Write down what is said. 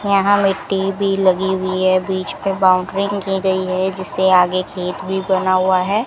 यहां मिट्टी भी लगी हुई है बीच पे बाउंड्रीइंग की गयी है जिसे आगे खेत भी बना हुआ है।